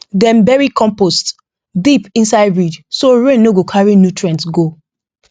dem bury compost deep inside ridge so rain no go carry nutrient run go